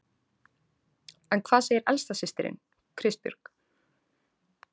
En hvað segir elsta systirin, Kristbjörg?